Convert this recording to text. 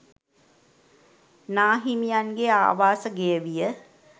නාහිමියන්ගේ ආවාස ගෙය විය.